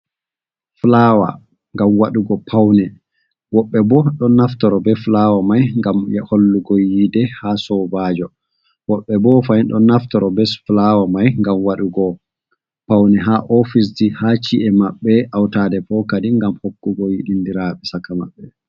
Fulawa ngam waɗugo pawne, woɓɓe bo ɗon naftoro be fulawa mai ngam hollugo yide ha sobajo, woɓɓe bo fahin ɗon naftoro be fulawa mai ngam waɗugo paune ha ofisji, ha ci’e maɓɓe hautade bo kadi ngam hokkugo yiɗindiraɓe shaka maɓɓe.